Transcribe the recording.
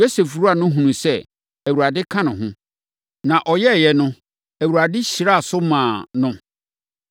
Yosef wura no hunuu sɛ, Awurade ka ne ho, na ɔyɛeɛ no, Awurade hyiraa so maa no na